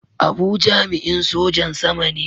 Abu jami'in Sojan Sama ne.